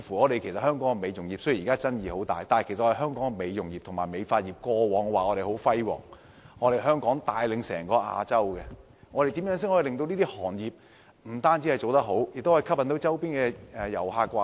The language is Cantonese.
雖然香港美容業現時有很多爭議，但本地的美容業及美髮業過往成績輝煌，帶領整個亞洲，怎樣令這些行業發揮所長，吸引周邊的遊客來港？